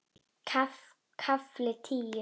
KAFLI TÍU